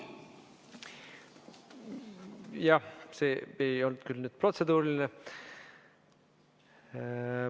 Jah, see ei olnud küll nüüd protseduuriline.